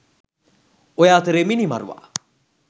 ඔය අතරේ මිනිමරුවා